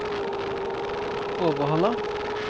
Overhalla